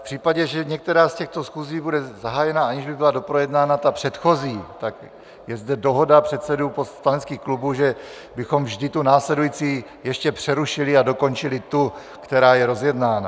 V případě, že některá z těchto schůzí bude zahájena, aniž by byla doprojednána ta předchozí, tak je zde dohoda předsedů poslaneckých klubů, že bychom vždy tu následující ještě přerušili a dokončili tu, která je rozjednána.